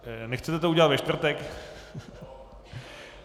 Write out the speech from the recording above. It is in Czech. Nechcete to udělat ve čtvrtek?